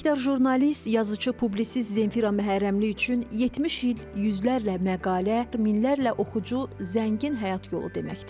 Əməkdar jurnalist, yazışı, publisist Zemfira Məhərrəmli üçün 70 il yüzlərlə məqalə, minlərlə oxucu, zəngin həyat yolu deməkdir.